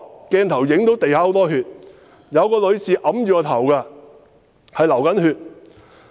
"鏡頭影到地上有很多血，有一位女士按着頭，她在流血。